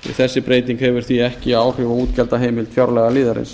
þessi breyting hefur því ekki áhrif á útgjaldaheimild fjárlagaliðarins